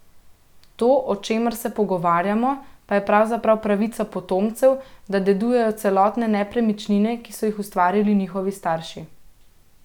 To, o čemer se pogovarjamo, pa je pravzaprav pravica potomcev, da dedujejo celotne nepremičnine, ki so jih ustvarili njihovi starši.